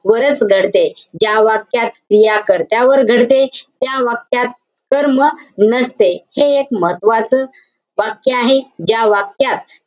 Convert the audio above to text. वरच घडते. ज्या वाक्यात क्रिया कर्त्यावर घडते, त्या वाक्यात कर्म नसते हे एक महत्वाचं वाक्य आहे. ज्या वाक्यात,